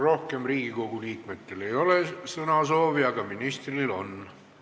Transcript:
Rohkem Riigikogu liikmetel sõnasoovi ei ole, aga ministril on.